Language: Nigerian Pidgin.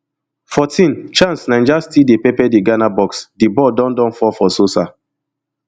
fourteen chance naija still dey pepper di ghana box di ball don don fall for sosah